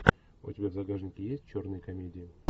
у тебя в загажнике есть черные комедии